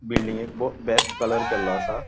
बिल्डिंगेक बो best colour केल्लो आसा.